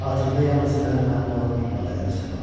Xatirimdə yalnız mənə məlum olan ifadələri saxlamışam.